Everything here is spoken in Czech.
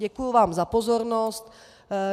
Děkuju vám za pozornost.